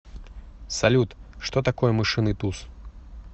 салют что такое мышиный туз